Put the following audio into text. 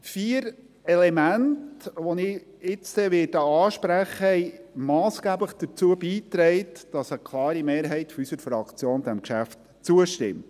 Vier Elemente, welche ich gleich ansprechen werde, haben massgeblich dazu beigetragen, dass eine klare Mehrheit unserer Fraktion diesem Geschäft zustimmt.